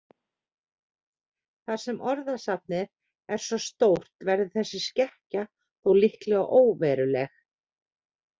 Þar sem orðasafnið er svo stórt verður þessi skekkja þó líklega óveruleg.